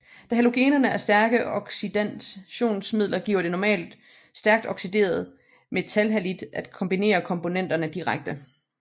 Da halogenerne er stærke oxidationsmidler giver det normalt et stærkt oxideret metalhalid at kombinere komponenterne direkte